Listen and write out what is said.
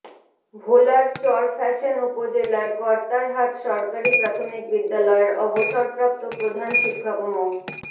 ভোলার চরফ্যাশন উপজেলার কর্তারহাট সরকারি প্রাথমিক বিদ্যালয়ের অবসরপ্রাপ্ত প্রধান শিক্ষক মো